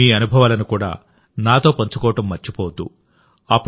మీ అనుభవాలను కూడా నాతో పంచుకోవడం మర్చిపోవద్దు